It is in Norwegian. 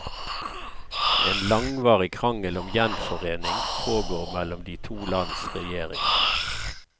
En langvarig krangel om gjenforening pågår mellom de to lands regjeringer.